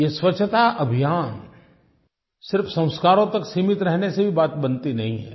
ये स्वच्छता अभियान सिर्फ संस्कारों तक सीमित रहने से भी बात बनती नहीं है